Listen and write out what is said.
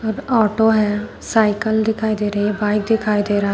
Auto है cycle दिखाई दे रही है बाइक दिखाई दे रहा है।